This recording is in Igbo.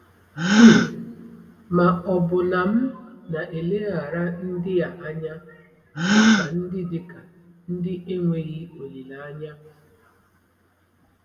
um Ma ọ̀ bụ na m na-eleghara ndị a anya dịka ndị dịka ndị enweghị olileanya?